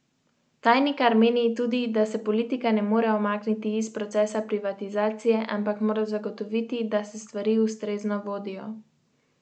Tajnikar meni tudi, da se politika ne more umakniti iz procesa privatizacije, ampak mora zagotoviti, da se stvari ustrezno vodijo.